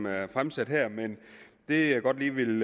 er fremsat her men det jeg godt lige vil